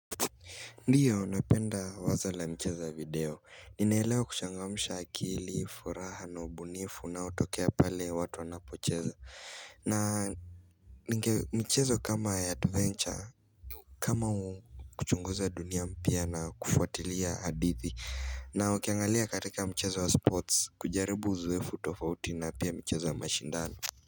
Ndiyo napenda wazo la mchezo video, ninaelewa kuchangamsha akili, furaha, na ubunifu, unaotokea pale watu wanapocheza na mchezo kama ya adventure, kama kuchunguza dunia mpya na kufuatilia hadithi na ukiangalia katika mchezo wa sports, kujaribu uzoefu tofauti na pia michezo ya mashindano.